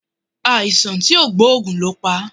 Aisan ti o gboogun lo pa